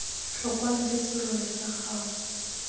tlhokwang ke serori sa gago